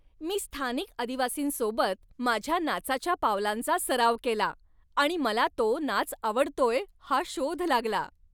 मी स्थानिक आदिवासींसोबत माझ्या नाचाच्या पावलांचा सराव केला आणि मला तो नाच आवडतोय हा शोध लागला.